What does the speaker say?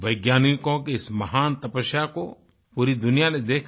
वैज्ञानिकों की इस महान तपस्या को पूरी दुनिया ने देखा